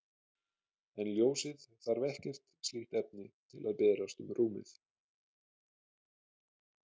En ljósið þarf ekkert slíkt efni til að berast um rúmið.